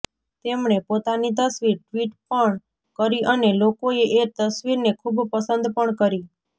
તેમણે પોતાની તસવીર ટ્વિટ પણ કરી અને લોકોએ એ તસવીરને ખૂબ પસંદ પણ કરી